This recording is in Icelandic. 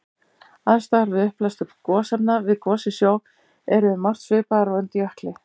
Aðstæður við upphleðslu gosefna við gos í sjó eru um margt svipaðar og undir jökli.